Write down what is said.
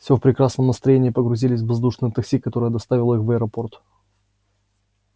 всё в прекрасном настроении погрузились в воздушное такси которое доставило их в аэропорт